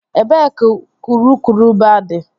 Ebee ka urukurubụba dị?